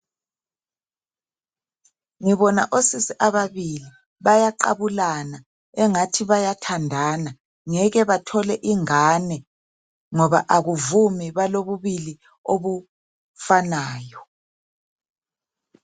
Ngibona osisi ababili, bayaqabulana angathi bayathandana. Ngeke bathole ingane ngoba akuvumi balobulili obufanayo.